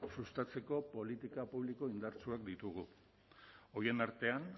sustatzeko politika publiko indartsuak ditugu horien artean